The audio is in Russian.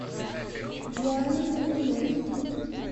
дианы фоминой